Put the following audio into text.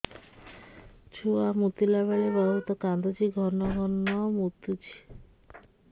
ଛୁଆ ମୁତିଲା ବେଳେ ବହୁତ କାନ୍ଦୁଛି ଘନ ଘନ ମୁତୁଛି